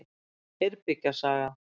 Eyrbyggja saga.